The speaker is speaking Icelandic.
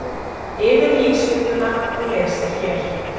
Yfirlýsinguna má lesa hér